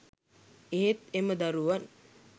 එහෙත් එම දරුවන්